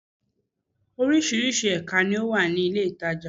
Orísirísi èka ni ó wà ní ilé ìtajà